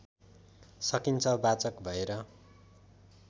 सकिन्छ वाचक भएर